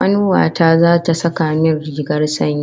Kanuwa ta zata saka min rigar sanyi